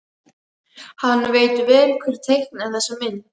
Hann veit vel hver teiknaði þessa mynd.